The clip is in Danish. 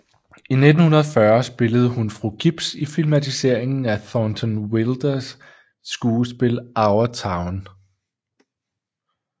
I 1940 spillede hun fru Gibbs i filmatiseringen af Thornton Wilders skuespil Our Town